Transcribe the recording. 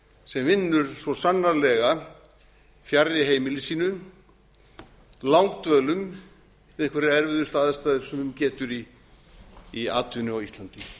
sem vinnur svo sannarlega fjarri heimili sínu langdvölum við einhverjar erfiðustu aðstæður sem um getur í atvinnu á íslandi